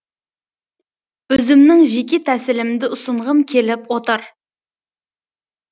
өзімнің жеке тәсілімді ұсынғым келіп отыр